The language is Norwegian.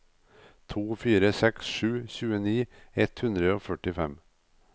to fire seks sju tjueni ett hundre og førtifem